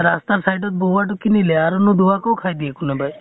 ৰাস্তাৰ side ত বহোৱাটো কিনিলে আৰু নুধুৱা কʼ খাই দিয়ে কোনোবাই।